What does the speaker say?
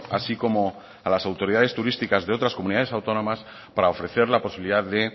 así como a las autoridades turísticas de otras comunidades autónomas para ofrecer la posibilidad de